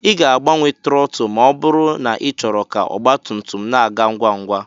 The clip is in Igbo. Ị ga-agbanwe trọtụl ma ọ bụrụ na ịchọrọ ka ọgba tum tum na-aga ngwa ngwa